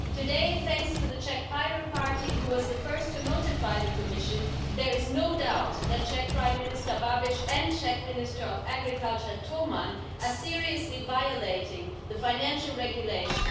Today, thanks to the Czech Pirate Party, who was the first to notify the Commission, there is no doubt that Czech Prime Minister Babiš and Czech Minister of Agriculture Toman are seriously violating the Financial Regulation.